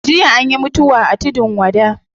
Jiya anyi mutuwa a tudun wada